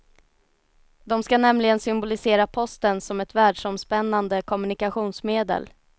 De ska nämligen symbolisera posten som ett världsomspännande kommunikationsmedel.